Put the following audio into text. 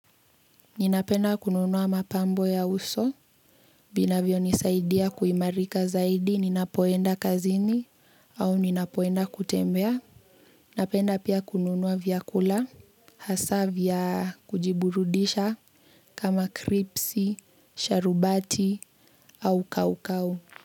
Ninapenda kununua mapambo ya uso, vinavyo nisaidia kuimarika zaidi ninapoenda kazini, au ninapoenda kutembea, napenda pia kununua vyakula, hasa vya kujiburudisha kama kripsi, sharubati au kau kau.